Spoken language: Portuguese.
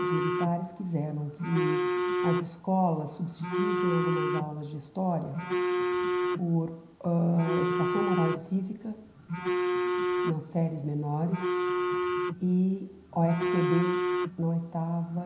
Os militares quiseram que as escolas substituíssem algumas aulas de história por ãh Educação Moral e Cívica nas séries menores e ó esse pê bê na oitava.